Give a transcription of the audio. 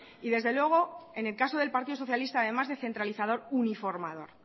y desde luego en el caso del partido socialista además de centralizador uniformador